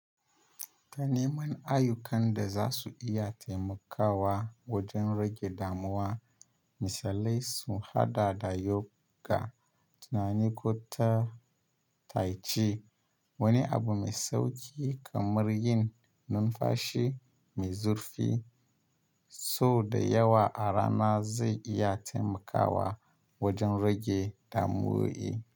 Taniman ayyukan da za su iya taimakawa wajen rage damuwa misalai sun haɗa da yoga, tunani ko ta tai chi. Wani abu mai sauƙi kamar yin numfashi mai zurfi sau da yawa a rana zai iya taimakawa wajan rage damuwoyi.